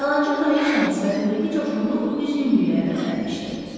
Yalançı kraliçanın sifətindəki coşqunluq üzgünlüklə əvəzlənmişdi.